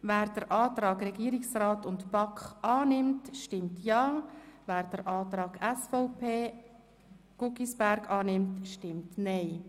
Wer den Antrag Regierungsrat/BaK annimmt, stimmt Ja, wer den Antrag SVP/Guggisberg annehmen will, stimmt Nein.